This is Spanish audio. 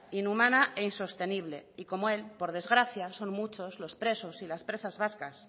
inhumana e insostenible y como él por desgracia son muchos los presos y las presas vascas